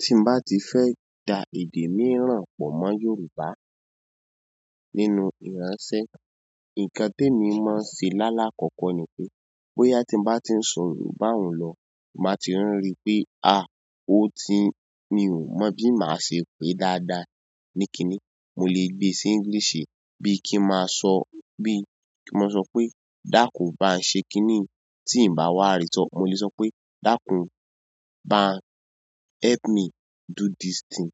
Tí mo bá ti fẹ́ da èdè míìrán pọ̀ mọ́ Yorùbá nínú ìránṣẹ́, ǹkan temi máa ń ṣe lálákọ̀ọ́kọ́ ni pé bóyá tí mo bá ti ń sọ̀ yorùbá un lọ ti n ba ti ri pé, "àá o ti-- mi ò mọ̀ bí màá ṣe pé dáadáa. Ní kinni?" Mo lè gbé sí English bí kí máa sọ, bí kí máa sọ pé "dákun, bá n ṣe kinni" tí ǹ bá wá rí sọ́. Mo lè sọ pé "dákun, bá help me do this thing."